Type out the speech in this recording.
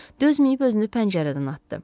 Dözməyib özünü pəncərədən atdı.